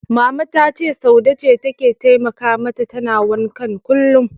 Mama ta ce Saude ce take taimaka mata tana wankan kullum.